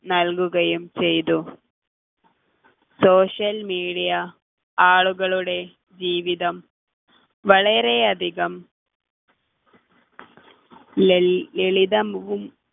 നൽകുകയും ചെയ്തു social media ആളുകളുടെ ജീവിതം വളരെയധികം ലൾ ലളിതവും